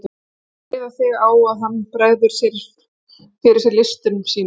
Þú mátt reiða þig á, að hann bregður fyrir sig listum sínum.